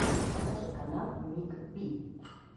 покажи канал ник би